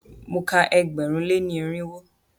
Mo ka ẹgbẹ̀rún lé ní irinwó.